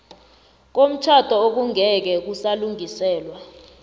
komtjhado okungeke kusalungiseka